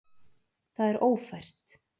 Það er ófært.